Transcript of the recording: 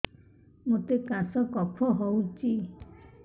ମୋତେ କାଶ କଫ ହଉଚି